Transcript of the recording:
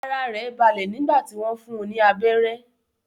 Ara rẹ̀ balẹ̀ nígbà tí wọ́n fún un ní abérẹ́.